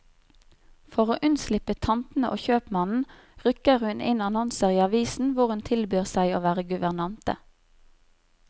For å unnslippe tantene og kjøpmannen, rykker hun inn annonser i avisen hvor hun tilbyr seg å være guvernante.